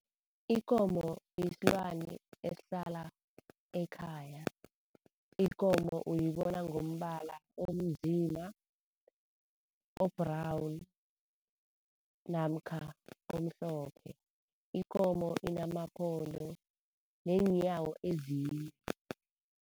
Ikomo isilwane esihlala ekhaya. Ikomo uyibona ngombala onzima, o-brown namkha omhlophe. Ikomo inamaphondo neenyawo ezine.